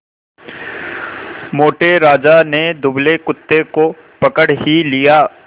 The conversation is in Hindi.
मोटे राजा ने दुबले कुत्ते को पकड़ ही लिया